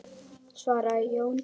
svaraði Jón.